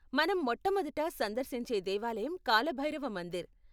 మనం మొట్టమొదట సందర్శించే దేవాలయం కాల భైరవ మందిర్.